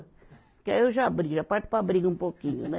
Porque aí eu já brigo, já parto para a briga um pouquinho, né?